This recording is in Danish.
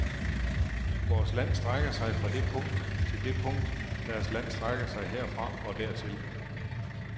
Vores land strækker sig fra det punkt til det punkt, deres land strækker sig herfra og dertil.